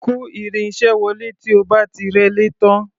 Kò irin-iṣẹ́ wọlé tí o bá ti rẹ́lé tán.